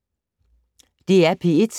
DR P3